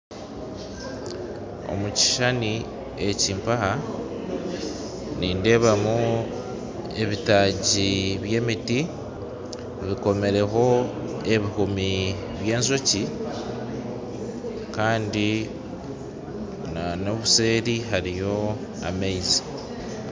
omu kishushani eki nindeebamu ebitaagi by'emiti bikomireho ebihumi by'enjoki kandi n'obusheeri hariyo amaizi